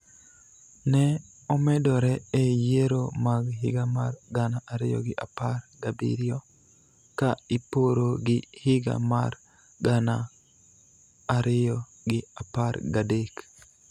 ne omedore e yiero mag higa mar gana ariyo gi apar gabiriyo ka iporo gi higa mar gana ariyo gi apar gadek.